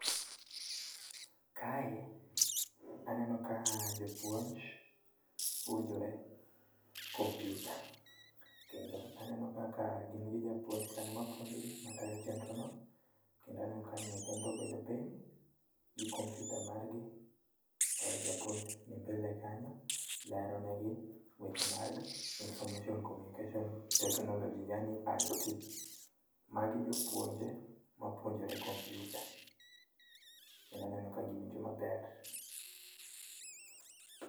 Kae aneno ka jopuonj puonjore kompyuta. Kendo aneno kaka gin gi japuonj kanyo mapuonjogi, matayo chenrono, kendo aneno ka nyithindo obedo piny gi kompyuta margi, to japuonj ni mbele kanyo lero negi weche mag Information Communication Technology yaani IT. Magi jopuonje mapuonjore kompyuta, kendo aneno ka giwinjo maber.